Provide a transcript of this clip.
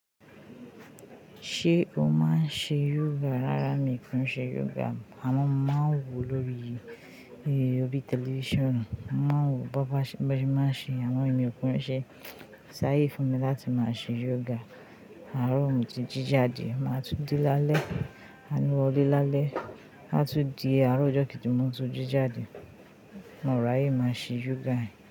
Ṣé o máa ń ṣe yoga? Rárá mi ki ń ṣe yoga. Àmọ́ mo máa ń wò lórí i, ni órí tẹlifíṣàn. Mo máa ń wò bọ́bà ṣe, bo se máa ń ṣe, amọ emi ò kún nṣe. Ko saye fún mi láti máa ṣe yoga, àárọ̀ mo ti jí jade, màá tún de lálẹ́, a n wọlé lálẹ́. A tún di àárọ̀ ọjọ́ kejì, mo tún jí jade. Mo ràye, máa ṣe yoga yen.